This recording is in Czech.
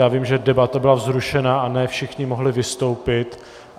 Já vím, že debata byla vzrušená a ne všichni mohli vystoupit.